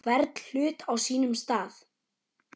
Hvern hlut á sínum stað.